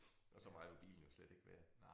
Og så meget var bilen jo slet ikke værd